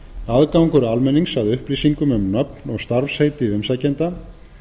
aðgangur almennings að upplýsingum um nöfn og starfsheiti umsækjenda